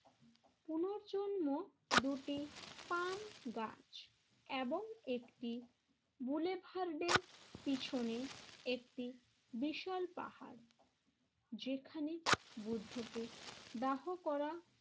জন্ম দুটি পান গাছ এবং একটি বুলেভারদের পিছনে একটি বিশাল পাহাড় যেখানে বুদ্ধকে দাহ করা